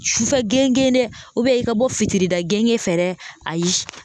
Sufɛ gengen dɛ i ka bɔ fitirida gengen fɛ ayi